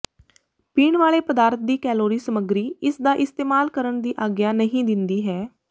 ਪੀਣ ਵਾਲੇ ਪਦਾਰਥ ਦੀ ਕੈਲੋਰੀ ਸਮੱਗਰੀ ਇਸਦਾ ਇਸਤੇਮਾਲ ਕਰਨ ਦੀ ਆਗਿਆ ਨਹੀਂ ਦਿੰਦੀ ਹੈ